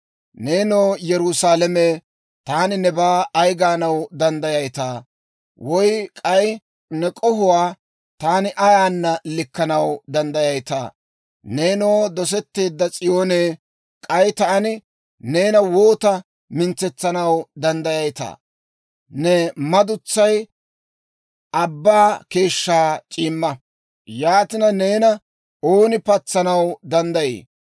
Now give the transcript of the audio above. Neenoo, Yerusaalame, taani nebaa ay gaanaw danddayayitaa? Woy k'ay ne k'ohuwaa taani ayaana likkanaw danddayayitaa? Neenoo, dosetteedda S'iyoonee, k'ay taani neena woota mintsetsanaw danddayayitaa? Ne madutsay abbaa keeshshaa c'iimma. Yaatina, neena ooni patsanaw danddayii?